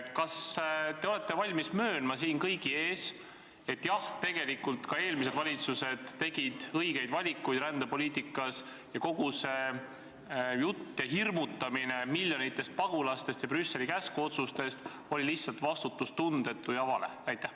Kas te olete valmis möönma siin kõigi ees, et tegelikult tegid ka eelmised valitsused rändepoliitikas õigeid valikuid ning kogu see hirmutamine miljonite pagulaste ja Brüsseli käskotsustega oli lihtsalt vastutustundetu ja vale?